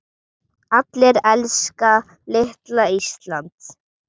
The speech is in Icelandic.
Allir elska litla Ísland.